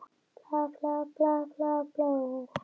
Yfirheyrslur hófust og stóðu lengi.